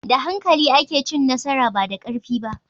Da hankali ake cin nasara, ba da karfi ba.